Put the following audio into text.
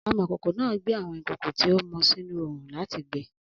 Amọ̀kòkò náà gbé àwọn ìkòkò tí ó mọ sínú oòrùn láti gbẹ́